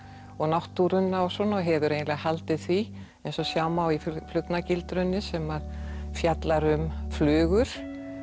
og náttúruna og svona og hefur eiginlega haldið því eins og sjá má í sem fjallar um flugur